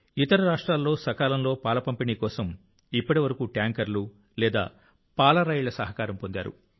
ఇతర రాష్ట్రాల్లో సకాలంలో పాల పంపిణీ కోసం ఇప్పటివరకు ట్యాంకర్లు లేదా పాల రైళ్ల సహకారం పొందారు